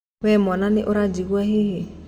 We mwana nĩ ũranjigua hihi.